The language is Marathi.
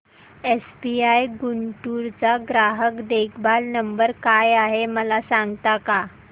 एसबीआय गुंटूर चा ग्राहक देखभाल नंबर काय आहे मला सांगता का